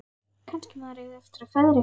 Kannski maður eigi eftir að feðra eitthvað.